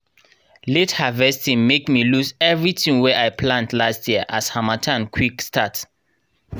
late harvesting make me lose everything wey i plant last year as harmattan quick start